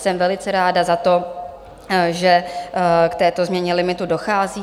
Jsem velice ráda za to, že k této změně limitu dochází.